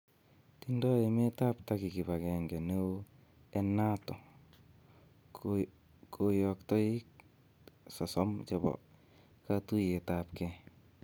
Tindo emetab Turkey kibagenge neo en Nato, Koyoktoik 30 chebo katuiyetab kee